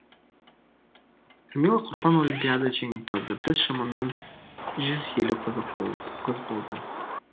камила қорпан олимпиада жеңімпазы біз шамамен жүз елу қыз болдық